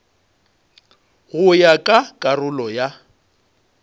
go ya ka karolo ya